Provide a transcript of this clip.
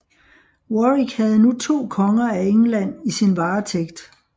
Warwick havde nu to konger af England i sin varetægt